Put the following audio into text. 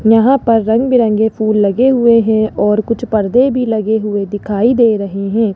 यहां पर रंग बिरंगे फूल लगे हुए है और कुछ पर्दे भी लगे हुए दिखाई दे रहे हैं।